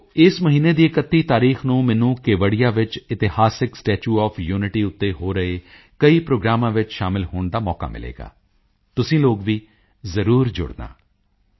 ਸਾਥੀਓ ਇਸ ਮਹੀਨੇ ਦੀ 31 ਤਾਰੀਖ ਨੂੰ ਮੈਨੂੰ ਕੇਵੜੀਆ ਵਿੱਚ ਇਤਿਹਾਸਕ ਸਟੈਚੂ ਓਐਫ ਯੂਨਿਟੀ ਉੱਤੇ ਹੋ ਰਹੇ ਕਈ ਪ੍ਰੋਗਰਾਮਾਂ ਵਿੱਚ ਸ਼ਾਮਿਲ ਹੋਣ ਦਾ ਮੌਕਾ ਮਿਲੇਗਾ ਤੁਸੀਂ ਲੋਕ ਵੀ ਜ਼ਰੂਰ ਜੁੜਨਾ